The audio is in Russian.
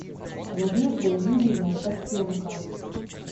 надеждой юрьевной костенко